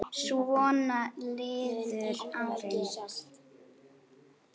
Svona liðu árin.